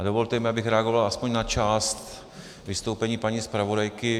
A dovolte mi, abych reagoval aspoň na část vystoupení paní zpravodajky.